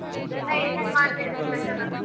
ಇನ್ನ ಏನೇನ್ ಮಾಡ್ದಿದಿರಿ special ಉ?